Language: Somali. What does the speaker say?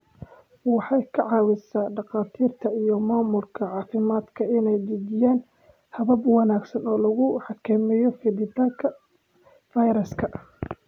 Waxay ka caawisaa dhakhaatiirta iyo maamulka caafimaadka inay dejiyaan habab wanaagsan oo lagu xakameeyo fiditaanka fayraska.